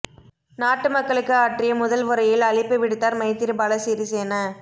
நாட்டு மக்களுக்கு ஆற்றிய முதல் உரையில் அழைப்பு விடுத்தார் மைத்திரிபால சிறிசேன